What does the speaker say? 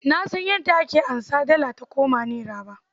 Na san yadda ake anza dala ta koma nera ba.